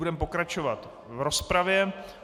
Budeme pokračovat v rozpravě.